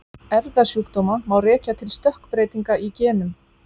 erfðasjúkdóma má rekja til stökkbreytinga í genum